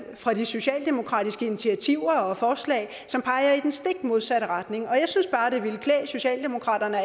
fra de socialdemokratiske initiativer og forslag som peger i den stik modsatte retning jeg synes bare det ville klæde socialdemokratiet at